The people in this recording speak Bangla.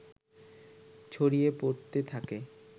ছড়িয়ে পড়তে থাকে